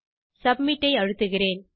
submit ஐ அழுத்துகிறேன்